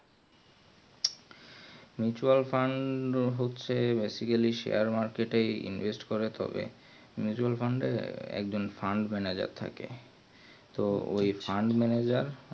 mutual fund হচ্ছে basically share market invest করে তবেই mutual fund এ fund manager থাকে তো ওই fund manager